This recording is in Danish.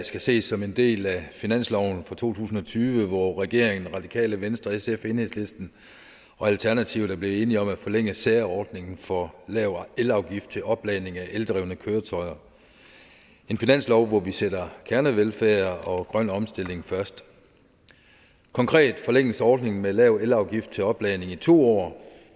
skal ses som en del af finansloven for to tusind og tyve hvor regeringen radikale venstre sf enhedslisten og alternativet er blevet enige om at forlænge særordningen for lavere elafgift til opladning af eldrevne køretøjer en finanslov hvor vi sætter kernevelfærd og grøn omstilling først konkret forlænges ordningen med lav elafgift til opladning i to år